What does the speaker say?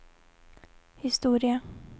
historia